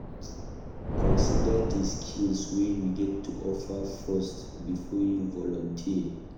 Consider di skills wey you get to offer first before you volunteer